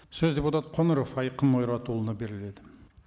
сөз депутат қоңыров айқын ойратұлына беріледі